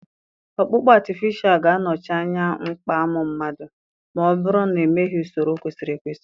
Ọkpụkpụ artificial ga-anọchi anya mkpa amụ mmadụ, ma ọ bụrụ na emeghị usoro kwesịrị ekwesị.